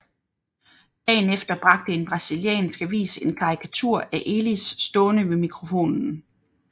Dagen efter bragte en brasiliansk avis en karikatur af Elis stående ved mikrofonen